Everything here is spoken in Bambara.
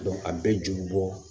a bɛɛ ju bɛ bɔ